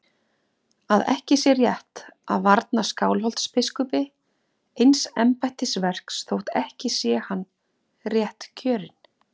Að ekki sé rétt að varna Skálholtsbiskupi eins embættisverks þótt ekki sé hann réttkjörinn.